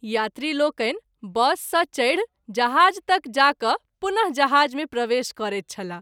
यात्री लोकनि बस सँ चढि जहाज़ तक जा क’ पुन: जहाज़ मे प्रवेश करैत छलाह।